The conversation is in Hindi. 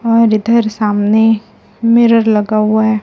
और इधर सामने मिरर लगा हुआ है।